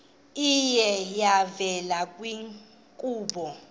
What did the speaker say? iye yavela kwiinkqubo